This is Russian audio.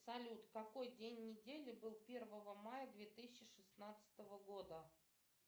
салют какой день недели был первого мая две тысячи шестнадцатого года